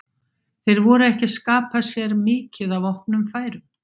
Þeir voru ekki að skapa sér mikið af opnum færum.